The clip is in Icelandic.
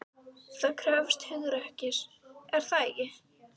Það krefst hugrekkis, er það ekki?